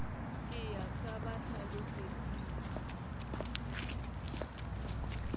ke ya sa ba hlalosetseng